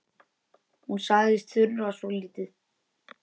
Hún sagðist þurfa svo lítið.